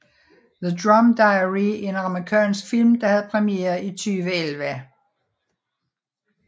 The Rum Diary er en amerikansk film der have premiere i 2011